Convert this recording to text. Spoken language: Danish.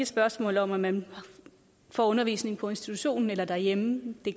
spørgsmål om at man får undervisning på institutionen eller derhjemme det